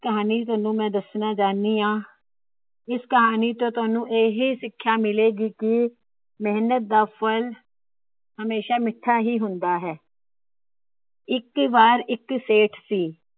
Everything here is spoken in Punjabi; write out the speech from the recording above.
ਕਹਾਣੀ ਤੁਹਾਨੂੰ ਮੈ ਦੱਸਣਾ ਚਾਹੁਣੀ ਆ। ਇਸ ਕਹਾਣੀ ਤੋ ਤੁਹਾਨੂੰ ਇਹ ਹੀ ਸਿੱਖਿਆ ਮਿਲੇਗੀ ਕਿ ਮੇਹਨਤ ਦਾ ਫ਼ਲ ਹਮੇਸ਼ਾ ਮਿੱਠਾ ਹੀ ਹੁੰਦਾ ਹੈ। ਇੱਕ ਵਾਰ ਇੱਕ ਸੇਠ ਸੀ।